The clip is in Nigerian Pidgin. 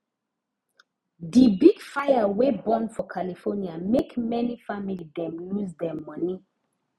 di big fire wey burn for california make many family dem lose dem moni